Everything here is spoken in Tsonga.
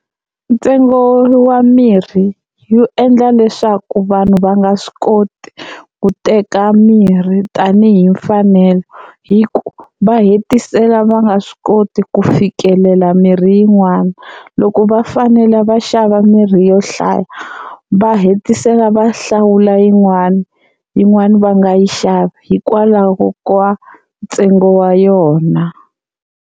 Ntsengo wa mirhi wu endla leswaku vanhu va nga swi koti ku teka mirhi tanihi mfanelo hi ku va hetisela va nga swi koti ku fikelela mirhi yin'wana. Loko va fanele va xava mirhi yo hlaya va hetisela va hlawula yin'wani, yin'wani va nga yi xavi hikwalaho ka ntsengo wa yona.